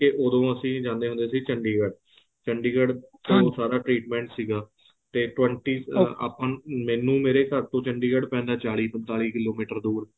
ਉਦੋਂ ਅਸੀਂ ਜਾਂਦੇ ਹੁੰਦੇ ਸੀ ਚੰਡੀਗੜ੍ਹ ਚੰਡੀਗੜ੍ਹ ਤੋਂ ਸਾਰਾ treatment ਸੀਗਾ ਤੇ twenty ਆਪਾਂ ਨੂੰ ਮੈਨੂੰ ਮੇਰੇ ਘਰ ਤੋਂ ਚੰਡੀਗੜ੍ਹ ਪੈਂਦਾ ਚਾਲੀ ਪੰਤਾਲੀ ਕਿਲੋਮੀਟਰ ਦੂਰ